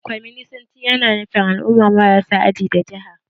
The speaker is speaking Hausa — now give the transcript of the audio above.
Kwaminisanci ya na nufar al'umma marasa aji da jaha